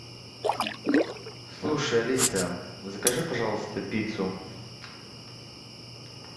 слушай алиса закажи пожалуйста пиццу